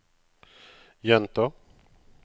gjenta